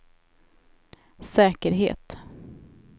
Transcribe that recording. säkerhet